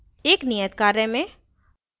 एक नियत कार्य में